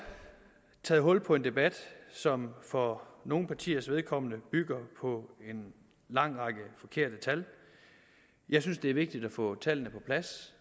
taget hul på en debat som for nogle partiers vedkommende bygger på en lang række forkerte tal jeg synes det er vigtigt at få tallene på plads